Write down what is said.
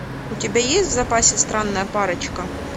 у тебя есть в запасе странная парочка